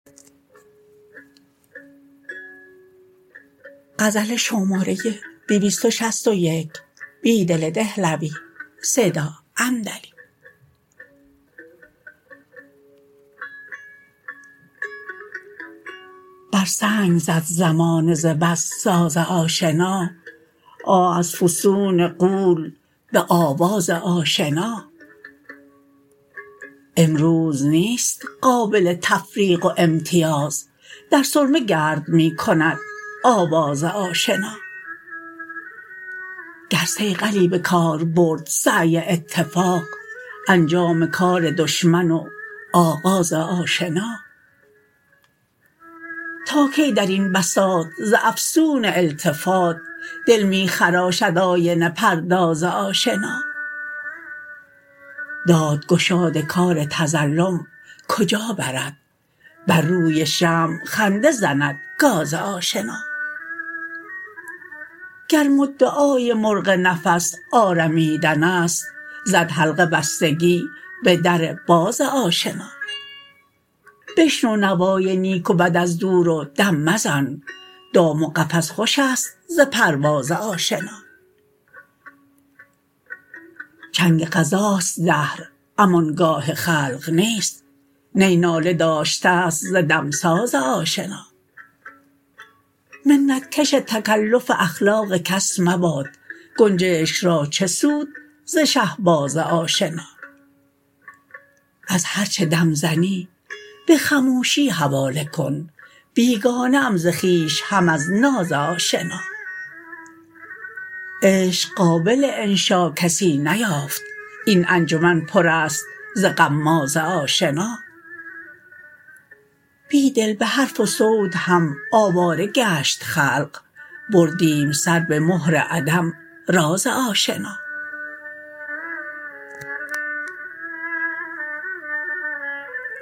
بر سنگ زد زمانه ز بس ساز آشنا آه از فسون غول به آواز آشنا امروز نیست قابل تفریق و امتیاز در سرمه گرد می کند آواز آشنا گر صیقلی به کار برد سعی اتفاق انجام کار دشمن و آغاز آشنا تا کی درین بساط ز افسون التفات دل می خراشد آینه پرداز آشنا داد گشاد کار تظلم کجا برد برروی شمع خنده زندگاز آشنا گر مدعای مرغ نفس آرمیدن است زد حلقه بستگی به در باز آشنا بشنو نوای نیک و بد از دور و دم مزن دام و قفس خوش است ز پرواز آشنا چنگ قضاست دهر امان گاه خلق نیست نی ناله داشته ست ز دمساز آشنا منت کش تکلف اخلاق کس مباد گنجشک را چه سود زشهبازآشنا از هرچه دم زنی به خموشی حواله کن بیگانه ام ز خویش هم از ناز آشنا عشق قابل انشاکسی نیافت این انجمن پر است ز غماز آشنا بیدل به حرف وصوت هم آواره گشت خلق بردیم سر به مهر عدم راز آشنا